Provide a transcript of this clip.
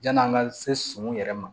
Yann'an ka se sɔn yɛrɛ ma